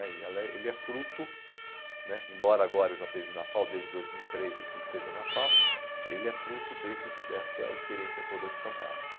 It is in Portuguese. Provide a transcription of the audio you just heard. né, e ela é, ele é fruto né, embora agora eu já esteja na FAU, desde dois mil e três eu esteja na FAU, ele é fruto desse dessa experiência toda de São Carlos.